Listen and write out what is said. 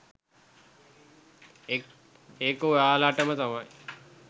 ඒක ඔයාලටම තමයි